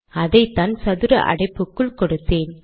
அதைதான் சதுர அடைப்புக்குள் கொடுத்தேன்